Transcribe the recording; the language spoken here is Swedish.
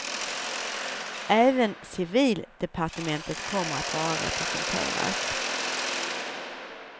Även civildepartementet kommer att vara representerat.